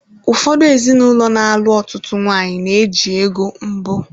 Ụfọdụ ezinụlọ ana-alụ ọtụtụ nwanyị na-eji ego mbụ.